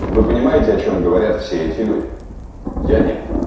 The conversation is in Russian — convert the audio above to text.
вы понимаете о чём говорят все эти люди я нет